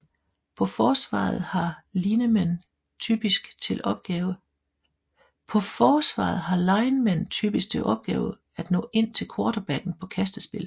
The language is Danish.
På forsvaret har linemen typisk til opgave at nå ind til quarterbacken på kastespil